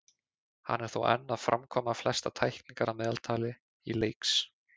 Hann er þó enn að framkvæma flestar tæklingar að meðaltali í leiks.